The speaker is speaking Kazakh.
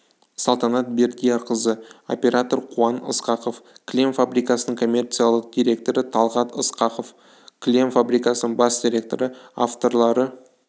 салтанат бердиярқызы оператор қуан ысқақов кілем фабрикасының коммерциялық директоры талғат ысқақов кілем фабрикасының бас директоры авторлары